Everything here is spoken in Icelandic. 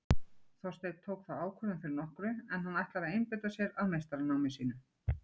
Þorsteinn tók þá ákvörðun fyrir nokkru en hann ætlar að einbeita sér að meistaranámi sínu.